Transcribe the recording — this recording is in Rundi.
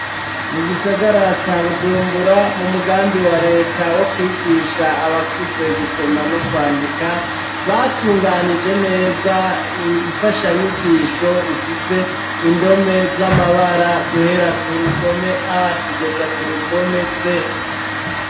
Mu gisagara ca bujumbura, mu mugambi wa leta wo kwigisha abakuze gusoma no kwandika, batunganije neza, ifashanyigisho ifise indome z'amabara, guhera ku rudome ,kugeza ku rudome Z.